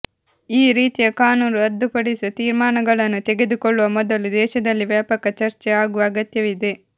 ಈ ರೀತಿಯ ಕಾನೂನು ರದ್ದುಪಡಿಸುವ ತೀರ್ಮಾನಗಳನ್ನು ತೆಗೆದುಕೊಳ್ಳುವ ಮೊದಲು ದೇಶದಲ್ಲಿ ವ್ಯಾಪಕ ಚರ್ಚೆ ಆಗುವ ಅಗತ್ಯವಿದೆ